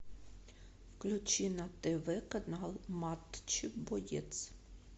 включи на тв канал матч боец